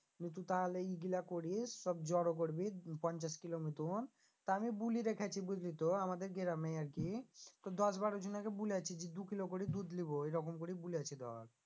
নিয়ে তু তাহলে ই গুলা করিস সব জড়ো করবি পঞ্চাশ কিলো মতন তা আমি বুলি রেখেছি বুঝলি তো আমাদের গ্রামে আর কি তোর দশ বারো জনাকে বুলেছি যে দু কিলো করে দুধ লিবো এরকম করে বুলেছি ধর